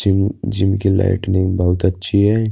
Gym gym की lighting बोहोत अच्छी है।